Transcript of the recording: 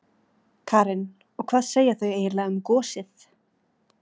Karen: Og hvað segja þau eiginlega um gosið?